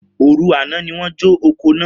Oru ana ni won jo oko naa.